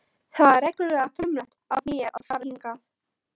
Það var reglulega frumlegt af mér að fara hingað.